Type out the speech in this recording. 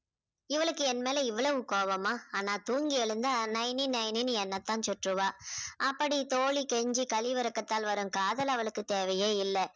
இவளுக்கு என் மேல இவ்வளவு கோபமா? ஆனா தூங்கி எழுந்தா நயனி நயனின்னு என்னத்தான் சுற்றுவா அப்படி தோழி கெஞ்சி கழிவிரக்கத்தால் வரும் காதல் அவளுக்கு தேவையே இல்லை.